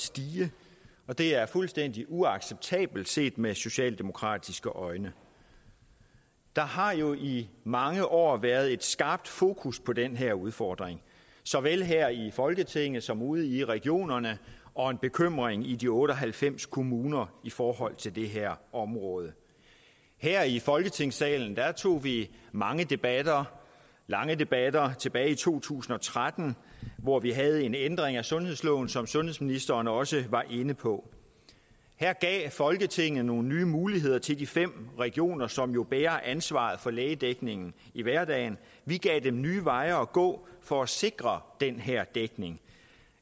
stige og det er fuldstændig uacceptabelt set med socialdemokratiske øjne der har jo i mange år været et skarpt fokus på den her udfordring såvel her i folketinget som ude i regionerne og en bekymring i de otte og halvfems kommuner i forhold til det her område her i folketingssalen tog vi mange debatter lange debatter tilbage i to tusind og tretten hvor vi havde en ændring af sundhedsloven som sundhedsministeren også var inde på her gav folketinget nogle nye muligheder til de fem regioner som jo bærer ansvaret for lægedækningen i hverdagen og vi gav dem nye veje at gå for at sikre den her dækning